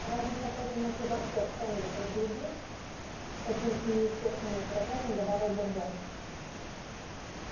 разве в такой темноте вообще что-нибудь разглядишь с каким-то неестественным раздражением добавил бурбон